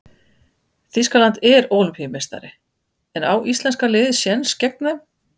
Þýskaland er Ólympíumeistari en á íslenska liðið séns gegn þeim?